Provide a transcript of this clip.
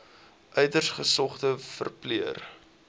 uiters gesogde verpleër